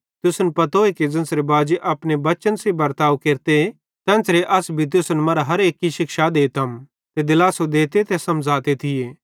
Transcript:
तुसन पतोए कि ज़ेन्च़रे बाजी अपने बच्चन सेइं बर्ताव केरते तेन्च़रे अस भी तुसन मरां हर केन्ची शिक्षा देते ते दिलासो देते ते समझ़ते थिये